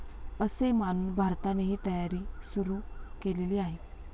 असे मानून भारतानेही तयारी सुरू केलेली आहे.